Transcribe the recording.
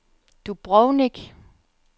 Dubrovnik